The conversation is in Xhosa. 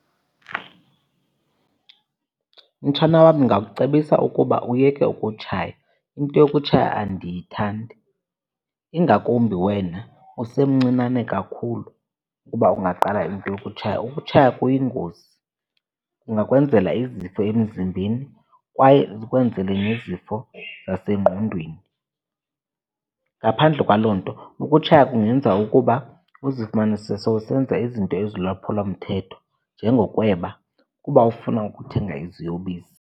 Mtshana wam, ndingakucebisa ukuba uyeke ukutshaya. Into yokutshaya andiyithandi, ingakumbi wena usemncinane kakhulu ukuba ungaqala into yokutshaya. Ukutshaya kuyingozi, kungakwenzela izifo emzimbeni kwaye zikwenzele nezifo zasengqondweni. Ngaphandle kwaloo nto ukutshaya kungenza ukuba uzifumanise sowusenza izinto ezilulwaphulomthetho njengokweba kuba ufuna ukuthenga iziyobisi.